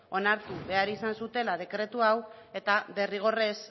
onartu behar izan zutela dekretu hau eta derrigorrez